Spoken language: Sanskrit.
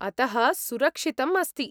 अतः सुरक्षितम् अस्ति।